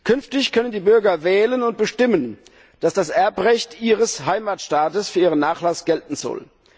Künftig können die Bürger wählen und bestimmen, dass das Erbrecht ihres Heimatstaates für ihren Nachlass gelten soll.